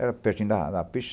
Era pertinho da da pista.